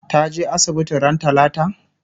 ta je asibiti ran talata?